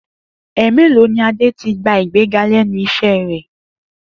È̩è̩mélòó ni Adé ti gba ìgbéga lé̩nu is̩é̩ rè̩?